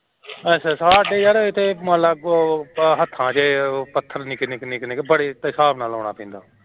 ਸਾਡੇ ਐਥੇ ਯਰ ਮੰਨ ਲੈ ਹੱਥਾਂ ਚ ਪੱਥਰ ਛੋਟੇ ਛੋਟੇ, ਬੜੇ ਹਿਸਾਬ ਨਾਲ ਲਾਉਣਾ ਪੈਂਦਾ